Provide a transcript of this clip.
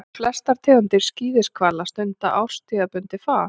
Flestar tegundir skíðishvala stunda árstíðabundið far.